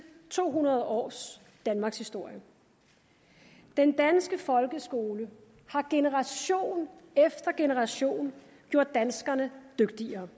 to hundrede års danmarkshistorie den danske folkeskole har generation efter generation gjort danskerne dygtigere